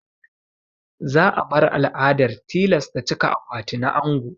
Za a bar al'adar tilasta cika akwati na ango.